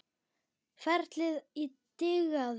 Ferlið og dygðin.